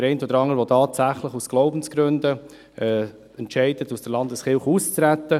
Der eine oder andere entscheidet tatsächlich aus Glaubensgründen, aus der Landeskirche auszutreten.